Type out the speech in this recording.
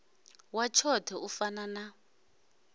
wa tshoṱhe u fana na